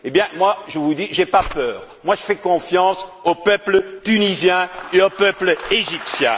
Eh bien, moi, je vous le dis, je n'ai pas peur, je fais confiance au peuple tunisien et au peuple égyptien!